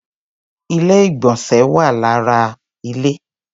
Ilé-ìgbọ̀nsẹ̀ wà lára ilé.